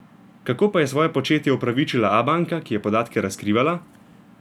Kako pa je svoje početje opravičila Abanka, ki je podatke razkrivala?